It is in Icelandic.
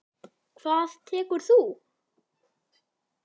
Hvað tekur þú?